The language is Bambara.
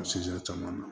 caman na